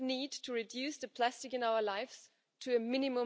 gar nicht angesprochen hat.